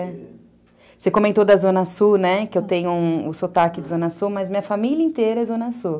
Você comentou da Zona Sul, que eu tenho o sotaque de Zona Sul, mas minha família inteira é Zona Sul.